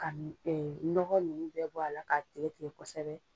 Ka nɔgɔ ninnu bɛɛ bɔ a la k'a tigɛ tigɛ kosɛbɛ